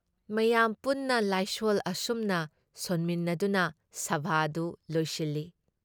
ꯃꯌꯥꯝ ꯄꯨꯟꯅ ꯂꯥꯏꯁꯣꯜ ꯑꯁꯨꯝꯅ ꯁꯣꯟꯃꯤꯟꯅꯗꯨꯅ ꯁꯚꯥꯗꯨ ꯂꯣꯏꯁꯤꯜꯂꯤ ꯫